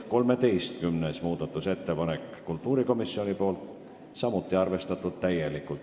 13. muudatusettepanek on kultuurikomisjonilt, samuti arvestatud täielikult.